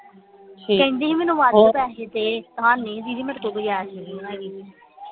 ਕਹਿੰਦੀ ਸੀ ਮੈਨੂੰ ਵੱਧ ਪੈਸੇ ਦੇ